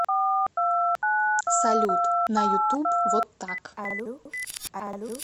салют на ютуб вот так